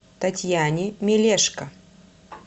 татьяне мелешко